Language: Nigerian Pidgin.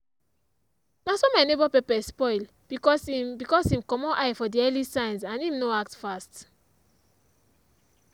na so my neighbour pepper spoil because him because him comot eye for the early signs and him no act fast.